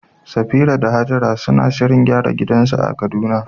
Safira da Hajara suna shirin gyara gidansu na Kaduna.